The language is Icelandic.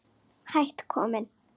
Hætt kominn